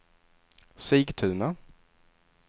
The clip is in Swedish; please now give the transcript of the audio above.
Sigtuna